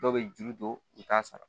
Dɔw bɛ juru don u t'a sara